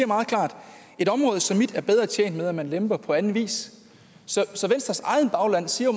meget klart et område som mit er bedre tjent med at man lemper på anden vis så venstres eget bagland siger